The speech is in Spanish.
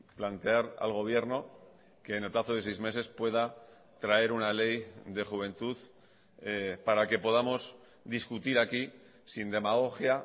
plantear al gobierno que en el plazo de seis meses pueda traer una ley de juventud para que podamos discutir aquí sin demagogia